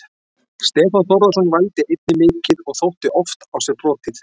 Stefán Þórðarson vældi einnig mikið og þótti oft á sér brotið.